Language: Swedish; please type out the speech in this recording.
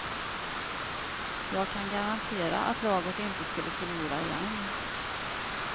Jag kan garantera att laget inte skulle förlora igen.